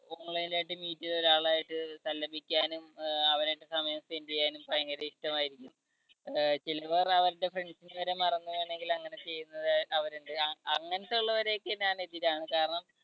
online ആയിട്ട് meet ചെയ്ത ഒരാളായിട്ട് സല്ലപിക്കാനും അവരും ആയിട്ട് സമയം spend ചെയ്യാനും ഭയങ്കര ഇഷ്ടമായിരിക്കും. ചിലവർ അവരുടെ friends നെ വരെ മറന്നു വേണമെങ്കിൽ അങ്ങനെ ചെയ്യുന്നവരെ അവരെ അങ്ങ അങ്ങനത്തെ ഉള്ളവരെയൊക്കെ ഞാൻ എതിരാണ് കാരണം